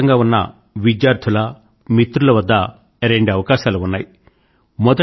దేశవ్యాప్తంగా ఉన్న విద్యార్థుల మిత్రుల వద్ద రెండు అవకాశాలు ఉన్నాయి